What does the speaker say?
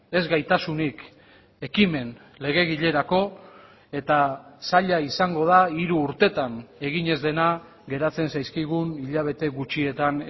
ez gaitasunik ekimen legegilerako eta zaila izango da hiru urtetan egin ez dena geratzen zaizkigun hilabete gutxietan